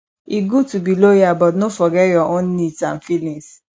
e good to be loyal but no forget your own needs and feelings